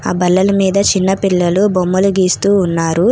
ఆ బల్లల మీద చిన్న పిల్లలు బొమ్మలు గీస్తూ ఉన్నారు.